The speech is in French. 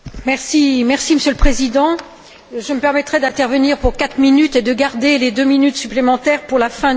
Monsieur le Président, je me permettrai d'intervenir pour quatre minutes et de garder les deux minutes supplémentaires pour la fin du débat.